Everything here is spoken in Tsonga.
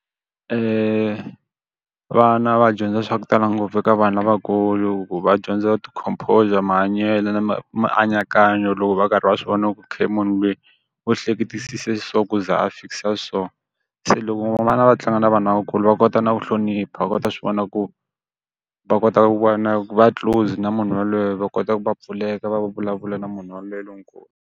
vana va dyondza swa ku tala ngopfu eka vanhu lavakulu hikuva va dyondza ti-composure, mahanyelo na mianakanyo loko va karhi va swi vona ku ok munhu loyi, u hleketisisa so ku za a fikisa so. Se loko vana va tlanga na vanhu lavakulu va kota na ku hlonipha va kota ku swi vona ku va kota ku va na ku va close na munhu yaloye va kota ku va va pfuleka va vulavula na munhu yaloye lonkulu.